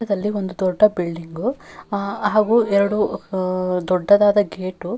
ತದಲ್ಲಿ ಒಂದು ದೊಡ್ಡ ಬಿಲ್ಡಿಂಗು ಆಹ್ಹ್ ಹಾಗೂ ಎರಡು ಆಹ್ಹ್ ದೊಡ್ಡದಾದ ಗೇಟು --